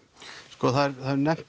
sko það er nefnt